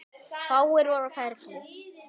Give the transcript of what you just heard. Fáir voru á ferli.